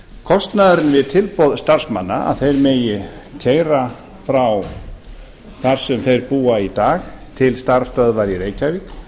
kostnaðurinn við tilboð starfsmanna að þeir megi keyra frá þar sem þeir búa í dag til starfsstöðvar í reykjavík